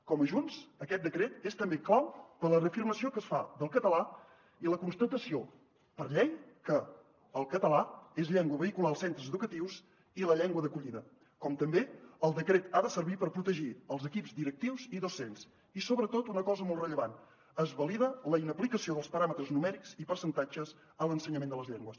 com a junts aquest decret és també clau per a la reafirmació que es fa del català i la constatació per llei que el català és llengua vehicular als centres educatius i la llengua d’acollida com també el decret ha de servir per protegir els equips directius i docents i sobretot una cosa molt rellevant es valida la inaplicació dels paràmetres numèrics i percentatges a l’ensenyament de les llengües